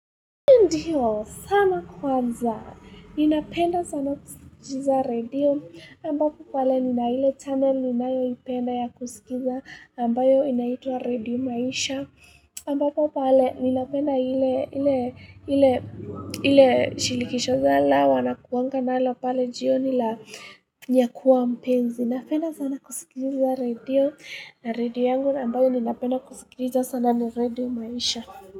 Ndiyo, sana kwanza, ninapenda sana kusikiza radio, ambapo pale ninaile channel ninayo ipenda ya kusikiza ambayo inaitwa radio maisha, ambapo pale ninapenda ile, ile, ile, ile shilikisho zala, wanakuangana hile pale jionila, niyakuwa mpenzi, ninapenda sana kusikiliza radio, radio yangu ambayo ninapenda kusikiza sana ni radio maisha.